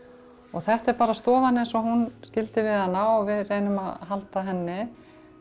þetta er bara stofan eins og hún skildi við hana og við reynum að halda henni